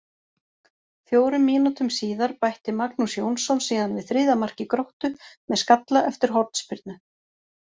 Fjórum mínútum síðar bætti Magnús Jónsson síðan við þriðja marki Gróttu með skalla eftir hornspyrnu.